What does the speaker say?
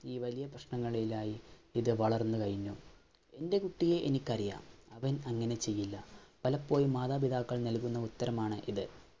ഈ വലിയ പ്രശ്നങ്ങളിലായി ഇത് വളർന്നു കഴിഞ്ഞു. എന്‍റെ കുട്ടിയെ എനിക്കറിയാം. അവൻ അങ്ങനെ ചെയ്യില്ല. പലപ്പോഴും മാതാപിതാക്കൾ നല്കുന്ന ഉത്തരമാണ് ഇത്.